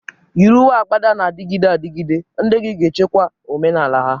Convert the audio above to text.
Yiri uwe agbada na-adịgide adịgide, ndị gị ga-echekwa omenala ha.